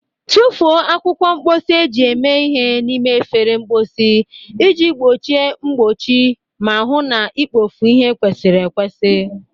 Tụfuo akwụkwọ mposi eji eme ihe n'ime efere mposi iji gbochie mgbochi ma hụ na ikpofu ihe kwesịrị ekwesị.